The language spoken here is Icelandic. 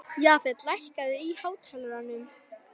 Jafet, lækkaðu í hátalaranum.